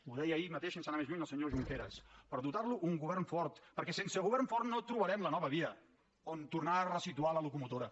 ho deia ahir mateix sense anar més lluny el senyor junqueras per dotar lo d’un govern fort perquè sense govern fort no trobarem la nova via on tornar a ressituar la locomotora